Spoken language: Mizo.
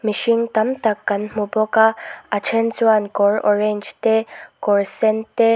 mihring tam tak kan hmu bawk a a then chuan kawr orange te kawr sen te--